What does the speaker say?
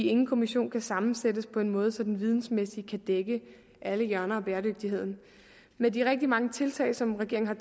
ingen kommission sammensættes på en måde så den vidensmæssigt kan dække alle hjørner af bæredygtigheden med de rigtig mange tiltag som regeringen har